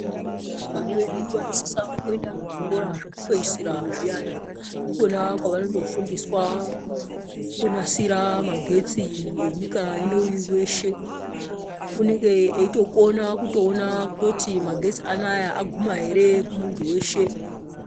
Vana vedu vanosisa kuenda kuzvikora zvekupedzisira zviyana ndikona kwavanondo fundiswa kunasira magetsi enyika ino yeshe unenge eitokona kuona kuti magesti anoaya aguma ere kumuntu weshe.